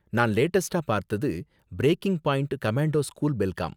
நான் லேடஸ்ட்டா பாத்தது breaking point commando school Belgaum